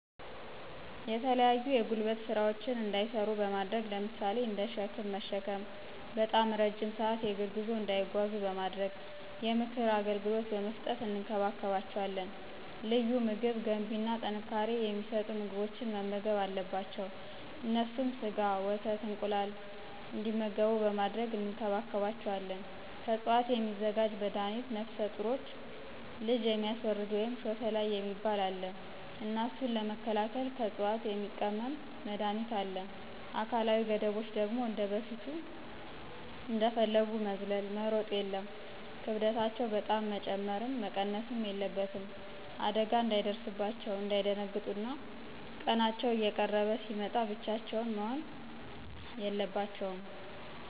የተለያዩ የጉልበት ስራዎችን እንዳይሰሩ በማድረግ ለምሳሌ እንደ ሽክም መሽከም፥ ባጣም እረዥም ስአት የግር ጉዞ እንዳይጓዙ በማድረግ፣ የምክር አገልግሎት በመስጠት እንከባከባቸዋለን። ልዩ ምግብ ገንቢ እና ጥንካሬ የማሰጡ ምግቦችን መመገብ አለባቸው። እነሱም ሰጋ፣ ወተት፣ እንቁላል እንግዲመጉቡ በማድረግ እንከባክቤቸዌለን። ከዕፅዋት የሚዘጋጅ መድሀኒት ነፍሰጡሮች ልጅ የሚያስወርድ ወይም ሾተላይ የሚባል አለ እና እሱን ለመከላክል ክዕፅዋት የሚቀምም መድሀኒት አለ። አካላዊ ገደቦች ደግሞ እንደበፊቱ እንደፈጉ መዝለል፣ መሮጥ የለም፣ ክብደታቸው በጣም መጨመረም መቀነስም የለበትም። አዳጋ እንዳይደርስባቸው፣ እንዳይደነግጡ እና ቀናቸው እየቀረበ ሲመጣ ብቻቸውን መሆን የለበትም።